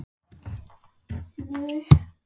Viltu nú fara!